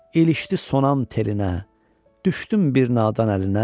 İlişdi sonam telinə, düşdüm bir nadan əlinə.